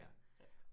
Ja, ja